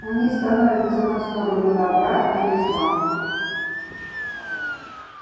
они становятся на сторону добра или зла